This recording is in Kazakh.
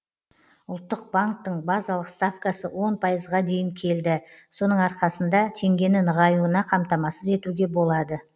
ұлттық банктің базалық ставкасы он пайызға дейін келді соның арқасында теңгені нығаюына қамтамасыз етуге болады